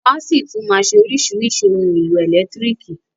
Wọn a ṣì tún máa ṣe oríṣìíríṣìí ohun èlò ẹ̀lẹ́tírìkì.